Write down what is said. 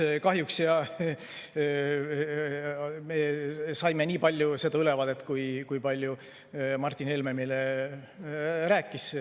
Ei, kahjuks me saime nii palju ülevaadet, kui palju Martin Helme meile rääkis.